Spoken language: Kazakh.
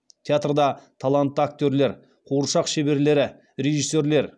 театрда талантты актерлер қуыршақ шеберлері режиссерлер